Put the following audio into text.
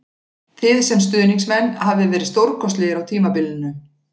Þið sem stuðningsmenn hafið verið stórkostlegir á tímabilinu